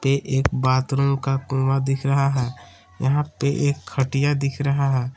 ये एक बाथरूम का कुआं दिख रहा है यहां पे एक खटिया दिख रहा है।